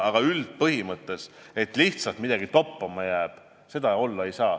Aga üldpõhimõte on, et seda, et lihtsalt midagi toppama jääb, olla ei saa.